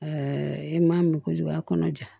i m'a min kojugu a kɔnɔ ja